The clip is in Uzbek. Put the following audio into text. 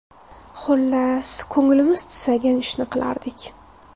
Xullas, ko‘nglimiz tusagan ishni qilardik.